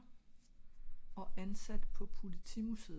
og ansat på politimusseet